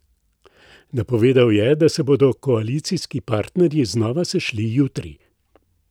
Napovedal je, da se bodo koalicijski partnerji znova sešli jutri.